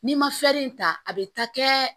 N'i ma ta a bɛ taa kɛ